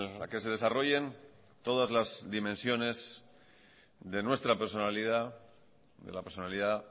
el que se desarrollen todas las dimensiones de la personalidad